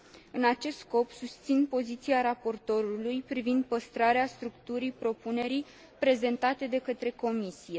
În acest scop, susțin poziția raportorului privind păstrarea structurii propunerii prezentate de către Comisie.